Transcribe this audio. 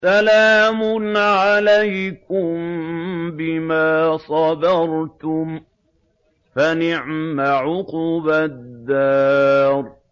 سَلَامٌ عَلَيْكُم بِمَا صَبَرْتُمْ ۚ فَنِعْمَ عُقْبَى الدَّارِ